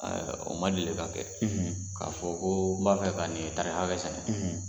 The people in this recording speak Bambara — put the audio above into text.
O ma deli ka kɛ k'a fɔ ko n b'a fɛ k'a tari hakɛ sɛnɛ